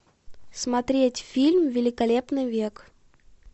смотреть фильм великолепный век